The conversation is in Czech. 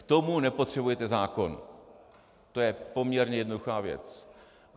K tomu nepotřebujete zákon, to je poměrně jednoduchá věc.